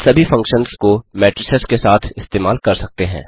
इन सभी फंक्शन्स को मेट्रिसेस के साथ इस्तेमाल कर सकते हैं